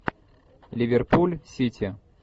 ливерпуль сити